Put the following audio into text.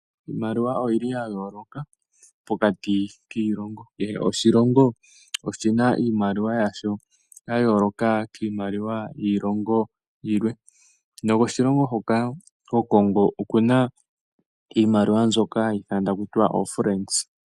Iimaliwa oyili yayooloka pokati kiilongo, kehe oshilongo oshina iimaliwa yasho yayooloka kiimaliwa yiilongo yilwe. Noko shilongo hoka ko Congo okuna iimaliwa nzoka hayi ithanwa takutiwa oFrancs.